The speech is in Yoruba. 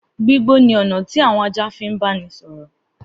Gbígbó ni ọ̀nà tí àwọn ajá fi ń báni sọ̀rọ̀.